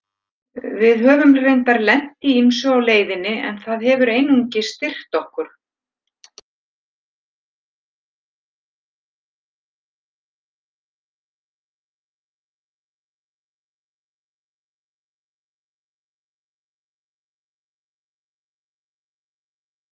Við höfum reyndar lent í ýmsu á leiðinni en það hefur einungis styrkt okkur.